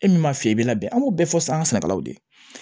E min m'a f'i ye i bɛ labɛn an b'o bɛɛ fɔ sanga sɛnɛkɛlaw de ye